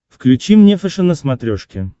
включи мне фэшен на смотрешке